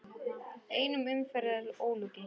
Einni umferð er ólokið.